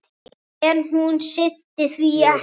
En hún sinnti því ekki.